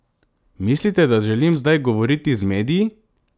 Mislite, da želim zdaj govoriti z mediji?